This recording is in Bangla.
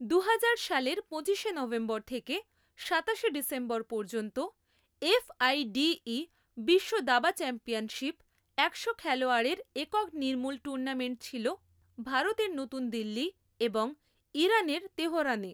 দু হাজার সালের পঁচিশে নভেম্বর থেকে সাতাশে ডিসেম্বর পর্যন্ত, এফআইডীই বিশ্ব দাবা চ্যাম্পিয়নশিপ একশো খেলোয়াড়ের একক নির্মূল টুর্নামেন্ট ছিল ভারতের নতুন দিল্লি এবং ইরানের তেহরানে।